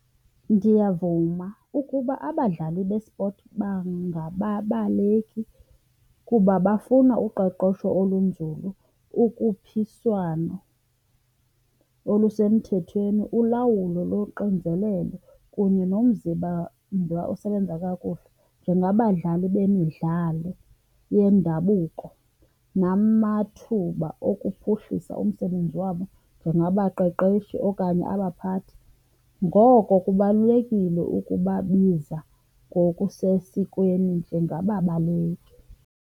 Ndiyavuma ukuba abadlali bespoti bangababaleki kuba bafuna uqeqesho olunzulu, ukhuphiswano olusemthethweni, ulawulo loxinzelelo kunye nomzimba osebenza kakuhle njengabadlali bemidlalo yendabuko namathuba okuphuhlisa umsebenzi wabo njengabaqeqeshi okanye abaphathi. Ngoko kubalulekile ukubabiza ngokusesikweni njengababaleki.